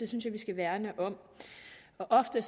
synes jeg vi skal værne om ofte